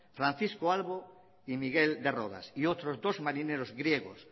francisco albo y miguel de rodas y otros dos marineros griegos